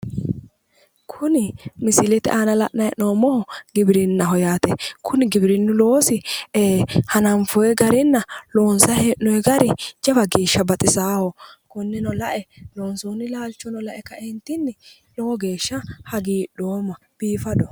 Kuni misilete aana la'nanni hee'noommohu giwirinnaho yaate. Kuni giwirinnu loosi hananfoyi garinna loonsayi hee'noyi gari jawa geeshsha baxisaaho. Konneno lae loonsoonni laalchono lae kaeentinni lowo geeshsha hagiidhoomma. Biifadoho.